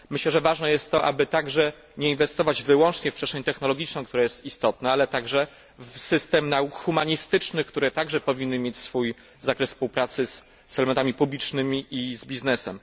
Myślę, że ważne jest to, aby także nie inwestować wyłącznie w przestrzeń technologiczną, która jest istotna, ale także w system nauk humanistycznych, które także powinny mieć swój zakres współpracy z elementami publicznymi i z biznesem.